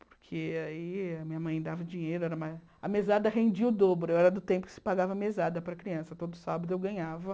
Porque aí a minha mãe dava dinheiro, era ma a mesada rendia o dobro, era do tempo que se pagava mesada para criança, todo sábado eu ganhava.